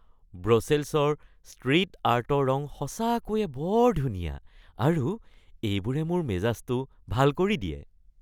ব্ৰছেলছৰ street আৰ্টৰ ৰং সঁচাকৈয়ে বৰ ধুনীয়া আৰু এইবোৰে মোৰ মেজাজটো ভাল কৰি দিয়ে।